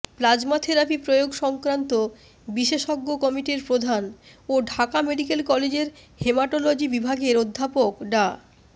plasma therapy প্রয়োগ সংক্রান্ত বিশেষজ্ঞ কমিটির প্রধান ও ঢাকা মেডিকেল কলেজের হেমাটোলজি বিভাগের অধ্যাপক ডা